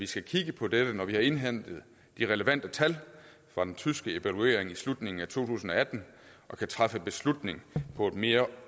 skal kigge på dette når vi har indhentet de relevante tal fra den tyske evaluering i slutningen af to tusind og atten og kan træffe beslutning på et mere